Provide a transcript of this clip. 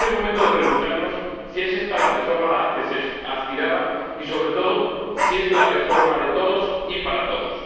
Y es el momento de preguntarnos si es esta la reforma a la que se aspiraba y, sobre todo, si es la reforma de todos y para todos.